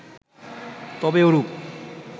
তবে ওরূপ